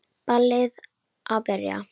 Ballið að byrja.